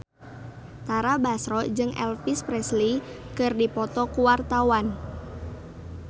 Tara Basro jeung Elvis Presley keur dipoto ku wartawan